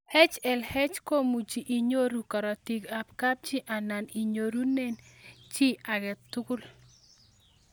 HLH komuchii inyorune karatik ab kapchii anan inyorune chii ag'e tugul